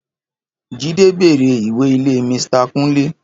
Jídé béèrè ìwé ilé Misita kúnlé